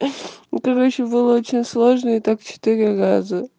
короче было очень сложно и так четыре раза